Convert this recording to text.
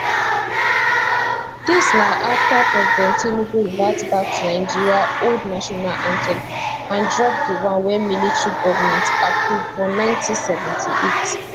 dis na afta president tinubu revert back to nigeria old national anthem and drop di one wey military goment approve for 1978